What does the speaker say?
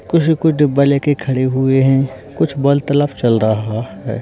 कुछ कुछ डब्बा लेके खड़े हुए हैं कुछ वार्तालाप चल रहा है।